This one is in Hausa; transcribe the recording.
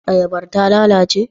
Ayabar ta lalace?